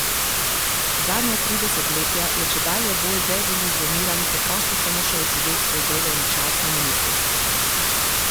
Zadnja tri desetletja je čedalje bolj deziluzioniran preprosto samo še odsedel svoj delovni čas na ministrstvu.